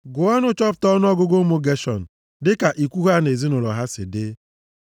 “Gụọ ọnụ chọpụta ọnụọgụgụ ụmụ Geshọn, dịka ikwu ha na ezinaụlọ ha si dị.